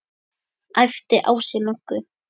æpti Ási Möggu.